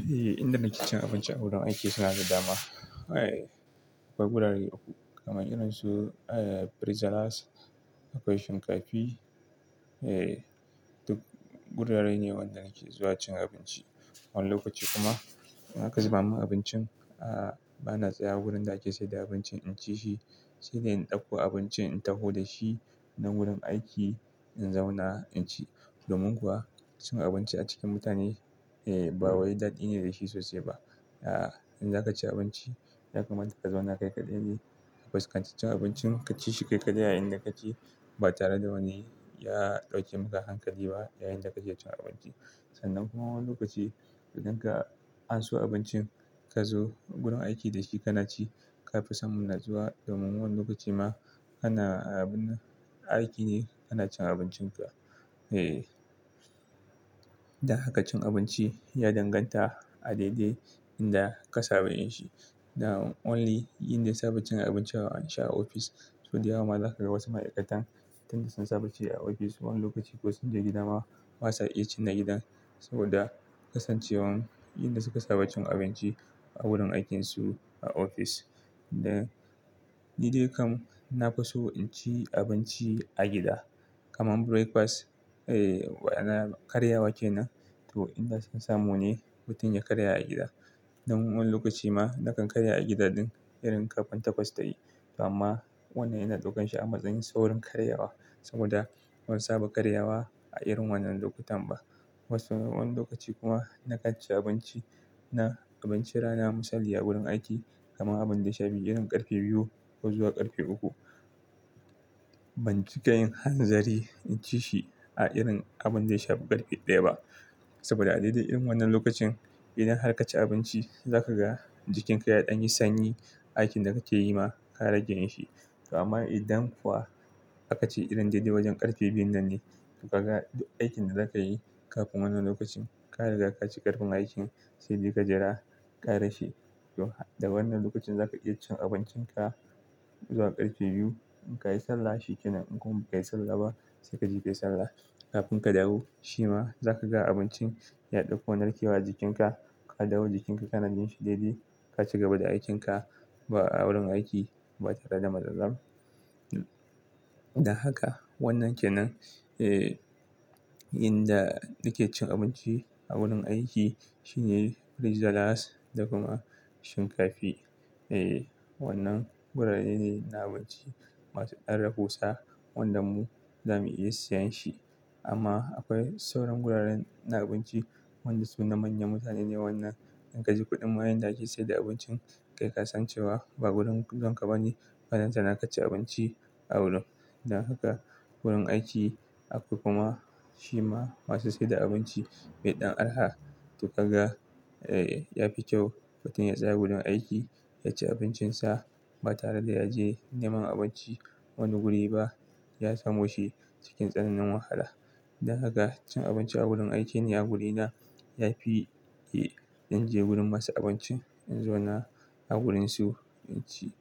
Eh, inda nake cin abinci a wurin aiki suna da dama. Akwai gurare uku. Kaman irin su Rice Jollof, akwai shinkafi. Duk gurare ne wanda nake zuwa cin abinci. Wani lokaci kuma in aka zuba min abincin, bana tsaya wurin da ake saida abinci in ci shi, sai dai in ɗauko abincin in taho da shi nan wurin aiki in zauna in ci. Domin kuwa cin abinci a cikin mutane ba wani daɗi ne da shi sosai ba. In za ka ci abinci, ya kamata ka zauna kai kaɗai ne. Fuskanci cin abincin ka ci shi kai kaɗai a inda kake ka ba tare da wani ya ɗauke maka hankali ba yayin da kake cin abinci. Sannan kuma wani lokaci idan ka anso abincin ka zo wurin aiki da shi kana ci. Ka fi samun natsuwa domin wannan lokaci ma ana aiki ne kana cin abincinka. Dan haka cin abinci ya danganta a daidai inda ka saba yin shi. Only inda na saba cin abinci an share ofis. To, daya zaka ga wasu ma'aikatan tunda sun saba ci a ofis wani lokaci ko sun je gida ma, ba sa iya cin na gidan saboda kasancewar in da suka saba cin abinci a wurin aikinsu a ofis. Da ni dai kam na fi so in ci abinci a gida. Kaman breakfast, na karyawa kenan to inda son samu ne mutum ya karya a gida. Nan wani lokaci ma na kan karya a gida din irin ƙarfe takwas tayi. Amma wannan yana ɗaukan shi a matsayin saurin karyawa saboda ban saba karyawa a irin wannan lokutan ba. Wani lokaci kuma na kaci abinci na abincin rana misali a wurin aiki kaman abin da ya shafi irin ƙarfe biyu ko zuwa ƙarfe uku. Ban cika yin hanzari in ci shi a irin abin da ya shafi ƙarfe ɗaya ba. Saboda a daidai irin wannan lokacin idan har ka ci abinci za ka ga jikinka yaɗan yi sanyi. Aikin da kake yi ma ka rage yin shi. Amma idan kuwa aka ce irin daidai wajen ƙarfe biyun nan ne, to ka ga duk aikin da za ka yi kafin wannan lokacin ka riga ka ci ƙarfin aikin, sai dai ka jira ƙara she to, da wannan lokacin za ka iya cin abincin ka zuwa ƙarfe biyu. In ka yi sallah shi ke nan. In kuma bai yi sallah ba sai kaje kai sallah. Kafin ka dawo, shi ma za ka ga abincin ya ɗauko narkewa jikinka. Ka dawo jikinka kana jin shi daidai. Ka ci gaba da aikinka a wurin aiki ba tare da matsala ba. Da haka wannan ke nan. Inda nake cin abinci a wurin aiki shine Rice Jollof da kuma shinkafi. Wannan gurare ne na abinci masu ɗan rahusa wanda mu zamu iya siyan shi. Amma akwai sauran guraren na abinci wanda su na manyan mutane ne. Wannan in ka ji kuɗin ma yanda ake saida abincin kai kasancewa ba wurin zuwan ka ba ne. Balanta na kaci abinci a wurin. Dan haka wurin aiki akwai kuma shi ma masu saida abinci mai ɗan araha to ka ga ya fi kyau mutum ya tsaya wurin aiki ya ci abincinsa ba tare da ya je neman abinci wani guri ba. Ya samo shi cikin tsananin wahala. Dan haka cin abinci a wurin aiki ni a wurina ya fi in je gurin masu abinci in zauna a wurinsu in ci.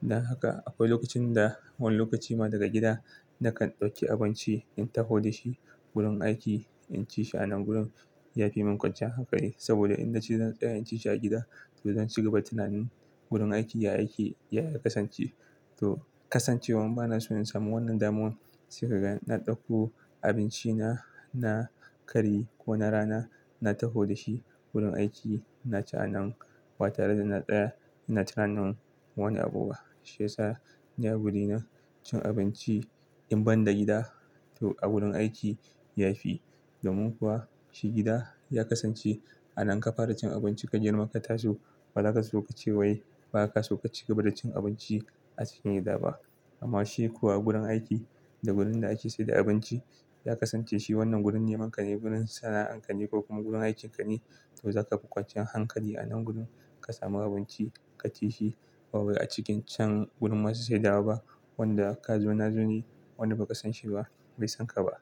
Dan haka akwai lokacin da wani lokaci ma daga gida na kan ɗauki abinci in taho da shi wurin aiki in ci shi a nan gurin. Ya fi min kwanciyar hankali saboda in na ci zan tsaya in ci shi a gida to zan ci gaba da tunanin wurin aiki ya yake Ya ya kasance. To kasancewan bana so in samu wannan daman sai ka ga na ɗauko abinci na na kari ko na rana na taho da shi wurin aiki na ci a nan ba tare da na tsaya ina tunanin wani abu ba. Shi ya sa ni a wurina cin abinci in ban da gida to a wurin aiki ya fi. Domin kuwa shi gida ya kasance a nan ka fara cin abinci ka girma ka taso ba za ka so ka ce wai ba ka so ka ci gaba da cin abinci a cikin gida ba. Amma shi kuwa gurin aiki da wurin da ake saida abinci ya kasance shi wannan wurin neman ka ne, wurin sana'ar ka ne ko kuma wurin aikinka ne. To za ka fi kwanciyar hankali a nan gurin ka samu abinci ka ci shi. Ba wai a cikin can gurin masu saidawa ba wanda ka zo na zo ne wanda ba ka san shi ba bai san ka ba.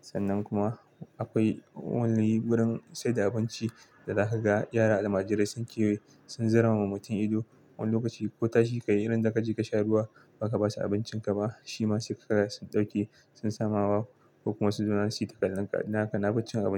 Sannan kuma akwai wani gurin saida abinci da za ka ga yara almajirai sun kewaye sun zaramawa mutum ido wani lokaci ko tashi ka yi irin da ka je ka sha ruwa ba ka ba su abincinka ba. Shima se kaga sun ɗauke sun sama wawa ko kuma su zauna su yi ta kallonka. Dan haka nafi cin abinci.